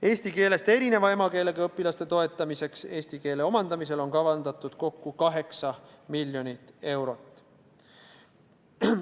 Eesti keelest erineva emakeelega õpilaste toetamiseks eesti keele omandamisel on kavandatud kokku 8 miljonit eurot.